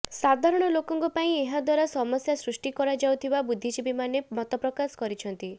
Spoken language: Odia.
ସାଧାରଣ ଲୋକଙ୍କ ପାଇଁ ଏହାଦ୍ବାରା ସମସ୍ୟା ସୃଷ୍ଟି କରାଯାଉଥିବା ବୁଦ୍ଧିଜୀବୀମାନେ ମତପ୍ରକାଶ କରିଛନ୍ତି